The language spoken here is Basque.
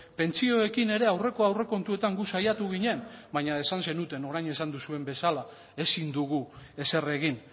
pentsioekin ere aurreko aurrekontuetan gu saiatu ginen baina esan zenuten orain esan duzuen bezala ezin dugu ezer egin